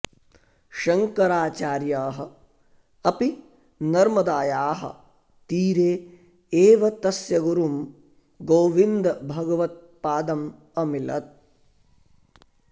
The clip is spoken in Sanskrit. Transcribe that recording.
शङ्कराचार्यः अपि नर्मदायाः तीरे एव तस्य गुरुं गोविन्दभगवत्पादम् अमिलत्